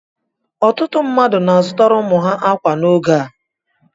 Ọtụtụ mmadụ na-azutara ụmụ ha ákwà n'oge a